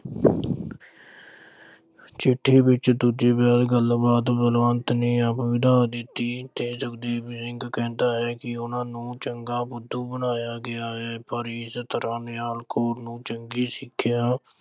ਚਿੱਠੀ ਵਿੱਚ ਦੂਜੇ ਵਿਆਹ ਦੀ ਗੱਲਬਾਤ ਬਲਵੰਤ ਨੇ ਆਪ ਵਧਾ ਦਿੱਤੀ ਤੇ ਸੁਖਦੇਵ ਸਿੰਘ ਕਹਿੰਦਾ ਹੈ ਕਿ ਉਨ੍ਹਾਂ ਨੂੰ ਚੰਗਾ ਬੁੱਧੂ ਬਣਾਇਆ ਗਿਆ ਹੈ। ਪਰ ਇਸ ਤਰ੍ਹਾਂ ਨਿਹਾਲ ਕੌਰ ਨੂੰ ਚੰਗੀ ਸਿੱਖਿਆ